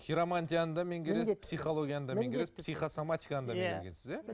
хиромантияны да меңгересіз психологияны да меңгересіз психосоматиканы да меңгересіз иә